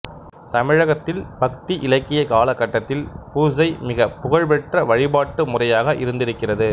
தமிழகத்தில் பக்தி இலக்கிய காலகட்டத்தில் பூசை மிகப் புகழ் பெற்ற வழிபாட்டு முறையாக இருந்திருக்கிறது